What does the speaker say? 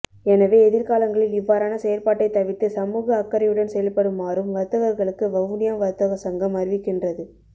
எனவே எதிர்காலங்களில் இவ்வாறான செயற்பாட்டை தவிர்த்து சமூக அக்கறையுடன் செயல்படுமாறும் வர்த்தகர்களுக்கு வவுனியா வர்த்தக சங்கம் அறிவிக்கின்றது